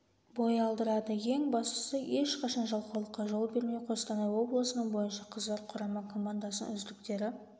бой алдырады ең бастысы ешқашан жалқаулыққа жол бермеу қостанай облысының бойынша қыздар құрама комадасының үздіктері